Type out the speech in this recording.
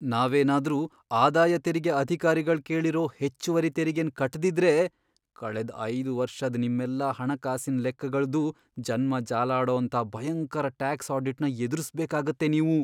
ನಾವೇನಾದ್ರೂ ಆದಾಯ ತೆರಿಗೆ ಅಧಿಕಾರಿಗಳ್ ಕೇಳಿರೋ ಹೆಚ್ಚುವರಿ ತೆರಿಗೆನ್ ಕಟ್ದಿದ್ರೆ, ಕಳೆದ್ ಐದ್ ವರ್ಷದ್ ನಿಮ್ಮೆಲ್ಲಾ ಹಣಕಾಸಿನ್ ಲೆಕ್ಕಗಳ್ದೂ ಜನ್ಮ ಜಾಲಾಡೋಂಥ ಭಯಂಕರ ಟ್ಯಾಕ್ಸ್ ಆಡಿಟ್ನ ಎದ್ರುಸ್ಬೇಕಾಗತ್ತೆ ನೀವು.